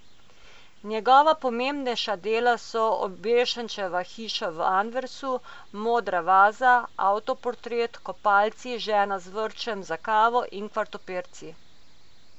Njegova pomembnejša dela so Obešenčeva hiša v Anversu, Modra vaza, Avtoportret, Kopalci, Žena z vrčem za kavo in Kvartopirci.